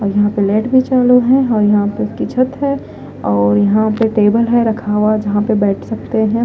और यहां पे लाइट भी चालू है और यहां पे उसकी छत है और यहां पे टेबल है रखा हुआ जहां पे बैठ सकते हैं।